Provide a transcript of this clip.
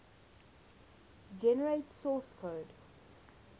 generate source code